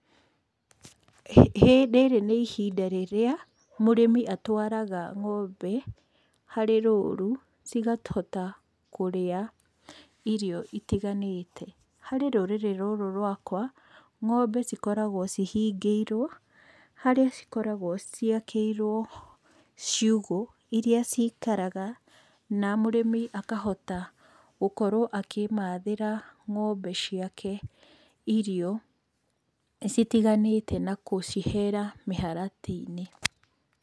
Rĩrĩ nĩ ihinda rĩrĩa mũrĩmi atwaraga ng'ombe harĩ rũru, cikahota kũrĩa irio itiganĩte. Harĩ rũrĩrĩ rũrũ rwakwa, ng'ombe cikoragwo cihingĩirwo, harĩa cikoragwo ciakĩirwo ciugũ, iria cikaraga na mũrĩmi akahota gũkorwo akĩmathĩra ng'ombe ciake irio citiganite na gũcihera mĩharatĩ-inĩ.